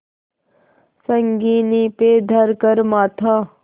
संगीन पे धर कर माथा